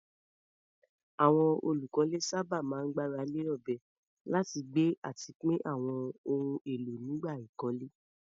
Àwọn olùkọ́lé sábà máa ń gbára lé ọ̀bẹ láti gbé àti pín àwọn ohun èlò nígbà ìkọ́lé.